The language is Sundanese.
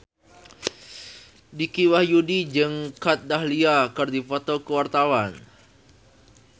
Dicky Wahyudi jeung Kat Dahlia keur dipoto ku wartawan